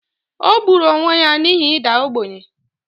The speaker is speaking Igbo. o gburu onwe ya n’ihi ịda ogbenye